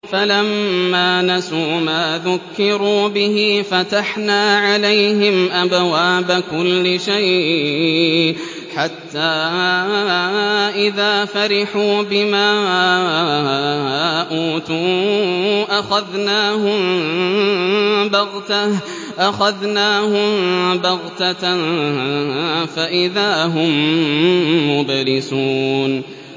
فَلَمَّا نَسُوا مَا ذُكِّرُوا بِهِ فَتَحْنَا عَلَيْهِمْ أَبْوَابَ كُلِّ شَيْءٍ حَتَّىٰ إِذَا فَرِحُوا بِمَا أُوتُوا أَخَذْنَاهُم بَغْتَةً فَإِذَا هُم مُّبْلِسُونَ